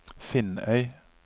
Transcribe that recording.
Finnøy